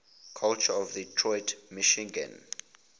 culture of detroit michigan